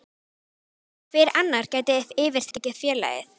Hver annar gæti yfirtekið félagið?